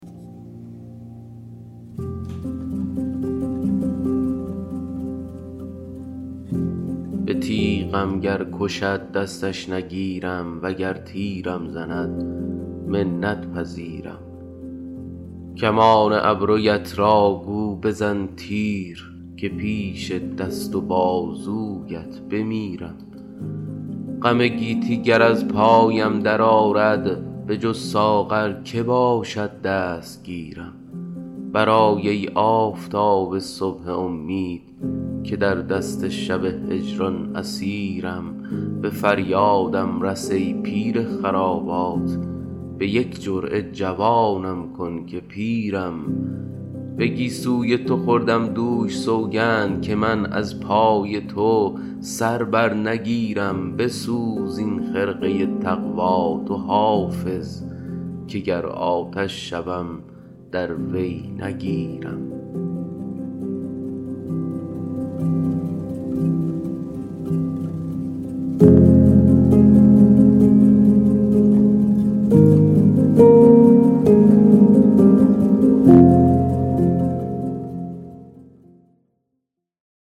به تیغم گر کشد دستش نگیرم وگر تیرم زند منت پذیرم کمان ابرویت را گو بزن تیر که پیش دست و بازویت بمیرم غم گیتی گر از پایم درآرد بجز ساغر که باشد دستگیرم برآی ای آفتاب صبح امید که در دست شب هجران اسیرم به فریادم رس ای پیر خرابات به یک جرعه جوانم کن که پیرم به گیسوی تو خوردم دوش سوگند که من از پای تو سر بر نگیرم بسوز این خرقه تقوا تو حافظ که گر آتش شوم در وی نگیرم